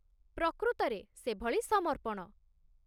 ପ୍ରକୃତରେ ସେଭଳି ସମର୍ପଣ।